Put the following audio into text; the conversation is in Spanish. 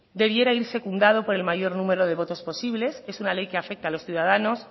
debiera ir secundado por el mayor número de votos posibles es una ley que afecta a los ciudadanos